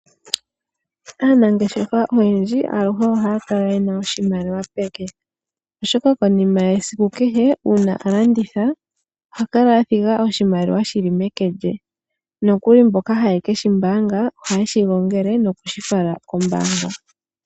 Aanangeshefa oyendji aluhe ohaakala yena oshimaliwa peke, oshoka konima yesiku kehe uuna alamditha ohakala athiga oshimaliwa shili meke lye, nokuli mboka haye keshi mbaanga ohaye shi gongele nokushi fala kombaanga.